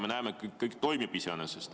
Me näeme, et iseenesest kõik toimib.